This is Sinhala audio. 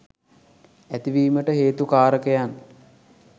ඇතිවීමට හේතු කාරකයන්